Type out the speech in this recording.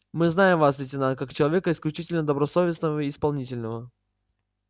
мы знаем вас лейтенант как человека исключительно добросовестного и исполнительного